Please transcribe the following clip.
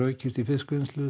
eykst í fiskvinnslu